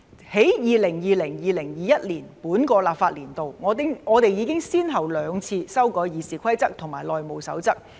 在 2020-2021 本個立法年度，我們已經先後兩次修改《議事規則》和《內務守則》。